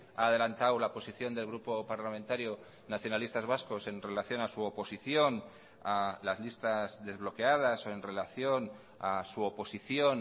ha adelantado la posición del grupo parlamentario nacionalistas vascos en relación a su oposición a las listas desbloqueadas o en relación a su oposición